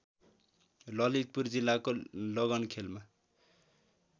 ललितपुर जिल्लाको लगनखेलमा